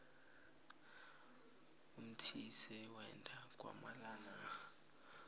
umthise wenda kwamanala